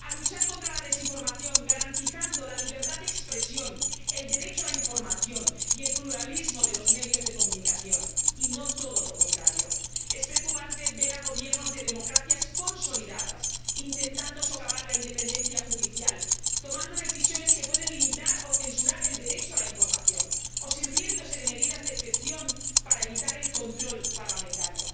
a luchar contra la desinformación, garantizando la libertad de expresión, el derecho a la información y el pluralismo de los medios de comunicación, y no todo lo contrario. Es preocupante ver a Gobiernos de democracias consolidadas intentando socavar la independencia judicial, tomando decisiones que pueden limitar o censurar el derecho a la información, o sirviéndose de medidas de excepción para evitar el control parlamentario.